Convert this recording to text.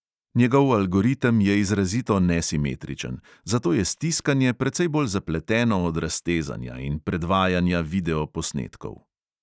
Njegov algoritem je izrazito nesimetričen, zato je stiskanje precej bolj zapleteno od raztezanja in predvajanja video posnetkov.